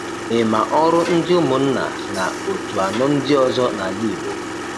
Ị ma ọrụ ndị ụmụnna na otu anọ ndị ọzọ nala Igbo?